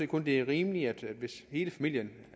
kun det er rimeligt hvis hele familien